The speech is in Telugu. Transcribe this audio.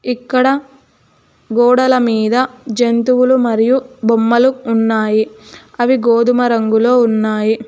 ఇక్కడ గోడల మీద జంతువులు మరియు బొమ్మలు ఉన్నాయి అవి గోధుమ రంగులో ఉన్నాయి.